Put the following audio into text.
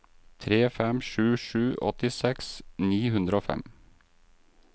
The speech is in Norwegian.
tre fem sju sju åttiseks ni hundre og fem